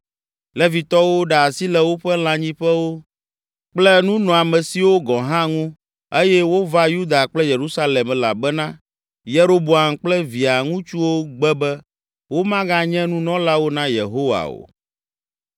Levitɔwo ɖe asi le woƒe lãnyiƒewo kple nunɔamesiwo gɔ̃ hã ŋu eye wova Yuda kple Yerusalem elabena Yeroboam kple via ŋutsuwo gbe be womaganye nunɔlawo na Yehowa o.